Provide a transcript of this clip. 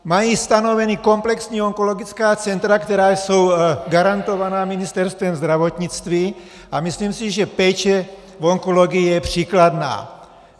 Mají stanovena komplexní onkologická centra, která jsou garantovaná Ministerstvem zdravotnictví, a myslím si, že péče v onkologii je příkladná.